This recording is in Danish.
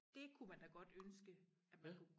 Dét kunne man da godt ønske at man kunne